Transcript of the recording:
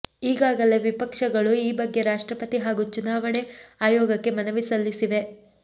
ಈಗಾಗಲೇ ವಿಪಕ್ಷಗಳು ಈ ಬಗ್ಗೆ ರಾಷ್ಟ್ರಪತಿ ಹಾಗೂ ಚುನಾವಣೆ ಆಯೋಗಕ್ಕೆ ಮನವಿ ಸಲ್ಲಿಸಿವೆ